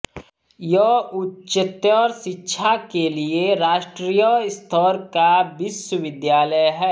यह उच्चतर शिक्षा के लिए राष्ट्रीय स्तर का विश्वविद्यालय है